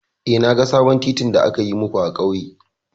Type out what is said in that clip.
Eh, na ga sabon titin da aka yi muku a ƙauye.